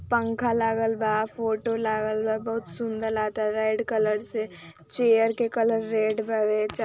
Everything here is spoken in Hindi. पंखा लागल बा फोटो लागल बा बहुत सुंदर लागता रेड कलर से चेयर के कलर रेड बावे।